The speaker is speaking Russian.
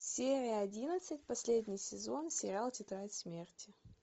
серия одиннадцать последний сезон сериал тетрадь смерти